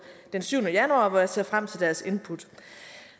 den syvende januar hvor jeg ser frem til deres input